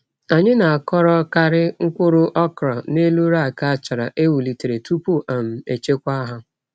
Anyị na-akọrọkarị mkpụrụ okra n’elu rack achara e welitere tupu um echekwa ha.